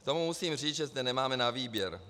K tomu musím říct, že zde nemáme na výběr.